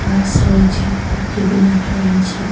রয়েছে অনেক টেবিল রাখা রয়েছে।